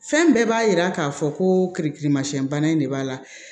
Fɛn bɛɛ b'a yira k'a fɔ ko keriki masiyɛn bana in de b'a la